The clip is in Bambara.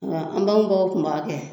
Nga an baw baw kun b'a kɛ